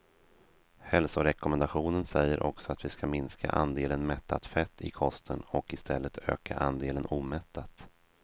Hälsorekommendationen säger också att vi ska minska andelen mättat fett i kosten och i stället öka andelen omättat.